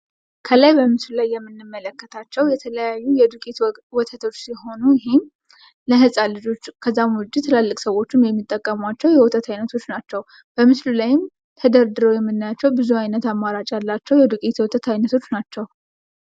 ከላይ በምስሉ ላይ የምንመለከታቸው የተለያዩ የዱቄት ወተቶች ሲሆኑ ይህም ለህፃን ልጆች ከዛም ውጭ ትላልቅ ሰዎችም የሚጠቀሟቸው የወተት አይነቶች ናቸው ። በምስሉ ላይም ተደርድረው የምናያቸው ብዙ ዓይነት አማራጭ ያላቸው የዱቄት የወተት አይነቶች ናቸው ።